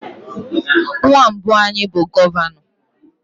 Nwa mbụ anyị bụ gọvanọ.